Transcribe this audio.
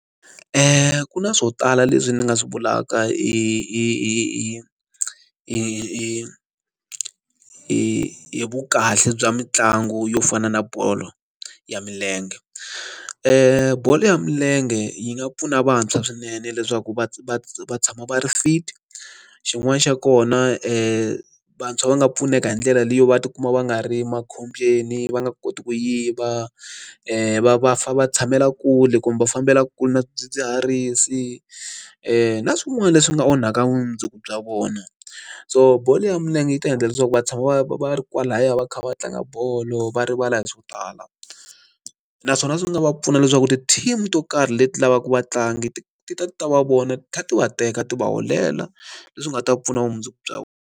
Ku na swo tala leswi ni nga swi vulaka i i i i i i i i vu kahle bya mitlangu yo fana na bolo ya milenge i bolo ya milenge yi nga pfuna vantshwa swinene leswaku va tshama va ri fit xin'wana xa kona i vantshwa va nga pfuneka hi ndlela leyo va tikuma va nga ri makhombyeni va nga koti ku yiva va pfa va tshamela kule kumbe va fambela kule na swidzidziharisi na swin'wana leswi nga onhaka vumundzuku bya vona so bolo ya milenge yi ta endla leswaku va tshama va va ri kwalaya va kha va tlanga bolo va rivala hi swo tala naswona swi nga va pfuna leswaku ti-team to karhi leti lavaka vatlangi ti ta ti ta va vona ti kha ti va teka ti va holela leswi nga ta pfuna vumundzuku bya vona.